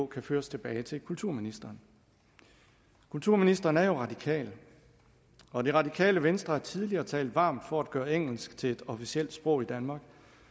kan føres tilbage til kulturministeren kulturministeren er jo radikal og det radikale venstre har tidligere talt varmt for at gøre engelsk til et officielt sprog i danmark